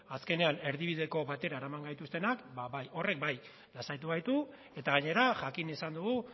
azkenean erdibideko batera eraman gaituztenak ba bai horrek bai horrek lasaitu gaitu eta gainera jakin izan dugu